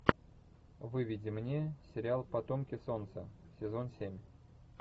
выведи мне сериал потомки солнца сезон семь